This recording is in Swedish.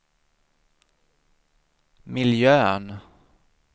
miljön